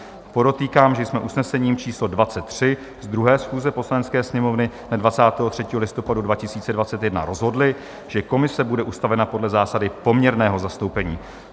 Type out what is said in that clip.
Podotýkám, že jsme usnesením číslo 23 z 2. schůze Poslanecké sněmovny dne 23. listopadu 2021 rozhodli, že komise bude ustavena podle zásady poměrného zastoupení.